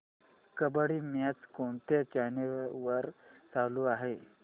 kabaddi match कोणत्या channel वर चालू आहे